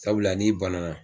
Sabula ni banana